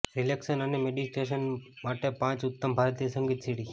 relaxation અને meditation માટે પાંચ ઉત્તમ ભારતીય સંગીત સીડી